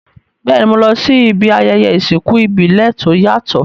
Béèni, mo lo si ibi ayẹyẹ ìsìnkú ìbílẹ̀ to yàtò